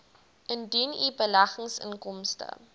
indien u beleggingsinkomste